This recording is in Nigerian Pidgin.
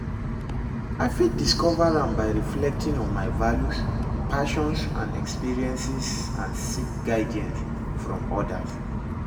i fit discover am by reflecting on my values, passions, and experiences and seek guidance from odas.